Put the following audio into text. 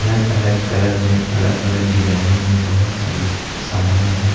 अलग अलग कलर में अलग अलग डिजाइनों में बहोत सारी साड़ियां है।